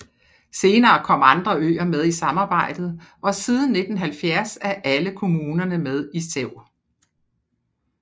Senere kom andre øer med i samarbejdet og siden 1970 er alle kommunerne med i SEV